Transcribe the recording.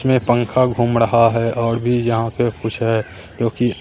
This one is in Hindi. मे पंखा घूम रहा है और भी यहां पे कुछ है जोकि--